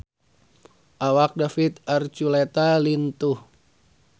Awak David Archuletta lintuh